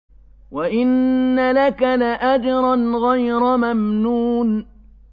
وَإِنَّ لَكَ لَأَجْرًا غَيْرَ مَمْنُونٍ